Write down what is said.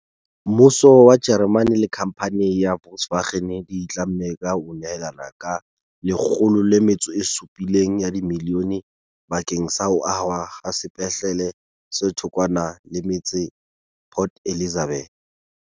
Mmuso wa Jeremane le khamphane ya Volkswagen di itlamme ka ho nyehela ka R107 milione bakeng sa ho ahwa ha sepetlele se thokwana le metse Port Elizabeth.